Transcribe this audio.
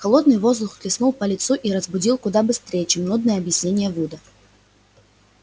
холодный воздух хлестнул по лицу и разбудил куда быстрее чем нудные объяснения вуда